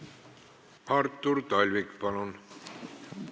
Artur Talvik, palun!